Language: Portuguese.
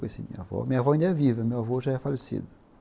Minha avó ainda é viva, meu avô já é falecido.